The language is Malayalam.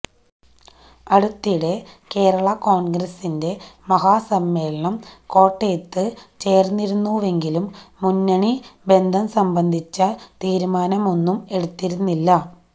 അടുത്തിടെ കേരള കോണ്ഗ്രസിന്റെ മഹാസമ്മേളനം കോട്ടയത്ത് ചേര്ന്നിരുന്നുവെങ്കിലും മുന്നണി ബന്ധം സംബന്ധിച്ച തീരുമാനമൊന്നും എടുത്തിരുന്നില്ല